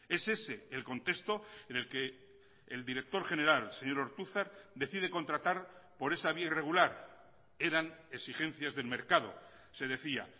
es ese el contexto en el que el director general señor ortuzar decide contratar por esa vía irregular eran exigencias del mercado se decía